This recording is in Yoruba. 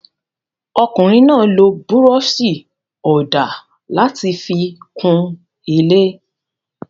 Ọkùnrin náà lo búrọ́ṣì-ọ̀dà láti fi kun ilé?